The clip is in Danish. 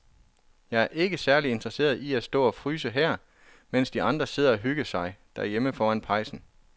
Jeg er ikke særlig interesseret i at stå og fryse her, mens de andre sidder og hygger sig derhjemme foran pejsen.